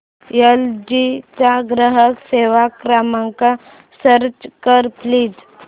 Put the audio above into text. L G चा ग्राहक सेवा क्रमांक सर्च कर प्लीज